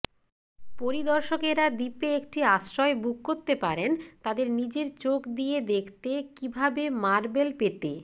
পরিদর্শকেরা দ্বীপে একটি আশ্রয় বুক করতে পারেন তাদের নিজের চোখ দিয়ে দেখতে কিভাবে মার্বেল পেতে